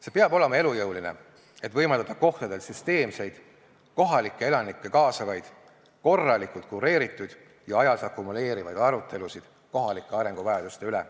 See peab olema elujõuline, et võimaldada kohtadel süsteemseid, kohalikke elanikke kaasavaid, korralikult kureeritud ja ajas akumuleerivaid arutelusid kohalike arenguvajaduste üle.